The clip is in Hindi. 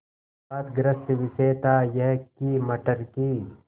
विवादग्रस्त विषय था यह कि मटर की